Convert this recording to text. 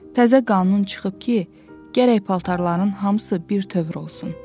Təzə qanun çıxıb ki, gərək paltarların hamısı birtövür olsun.